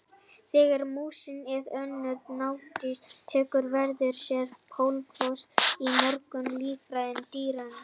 Þegar músin eða önnur nagdýr sýkjast tekur veiran sér bólfestu í mörgum líffærum dýranna.